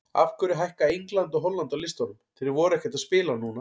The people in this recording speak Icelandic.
Af hverju hækka England og Holland á listanum, þeir voru ekkert að spila núna?